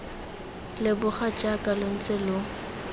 leboga jaaka lo ntse lo